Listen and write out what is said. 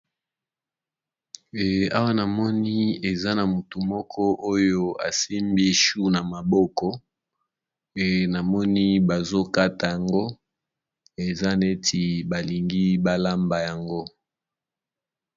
Awa namoni eza mutu moko asimbi choux na maboko namoni baso kata yango emonani balingi balamba yango.